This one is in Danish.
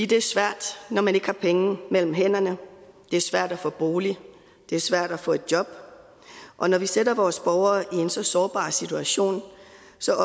det er svært når man ikke har penge mellem hænderne det er svært at få en bolig det er svært at få et job og når vi sætter vores borgere i en så sårbar situation